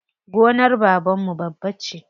Gonar babanmu babba ce.